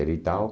e tal.